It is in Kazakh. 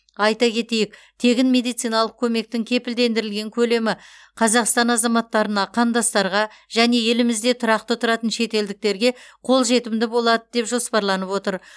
айта кетейік тегін медициналық көмектің кепілдендірілген көлемі қазақстан азаматтарына қандастарға және елімізде тұрақты тұратын шетелдіктерге қолжетімді болады деп жоспарланып отыр